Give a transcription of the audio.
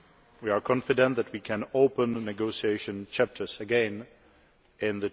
We are confident that we can open negotiation chapters again in